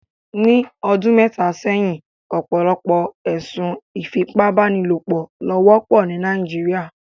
Ni ọdun mẹta sẹhin, ọpọlọpọ ẹsun ifipabanilopo lo wọpọ ni Nàìjíríà